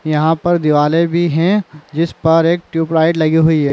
यहाँ पर दीवाले भी है जिस पर एक टूबलाइट लगी हुई है।